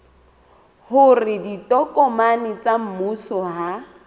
hore ditokomane tsa mmuso ha